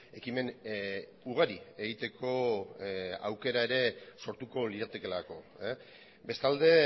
ekimen ugari egiteko aukera ere sortuko liratekeelako bestalde